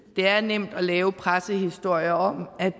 det er nemt at lave pressehistorier om at